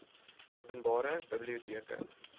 open bare biblioteke